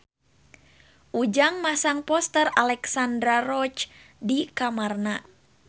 Ujang masang poster Alexandra Roach di kamarna